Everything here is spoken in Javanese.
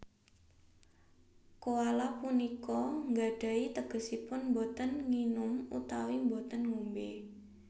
Koala punika nggadhahi tegesipun boten nginum utawi boten ngombé